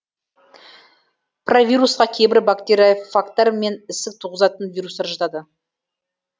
провирусқа кейбір бактериофагтар мен ісік туғызатын вирустар жатады